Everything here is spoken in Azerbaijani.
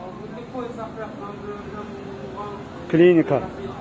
Amburda qoy Zəhra göndərilən bu klinika.